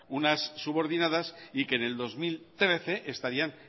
unas subordinadas y que en el dos mil trece estarían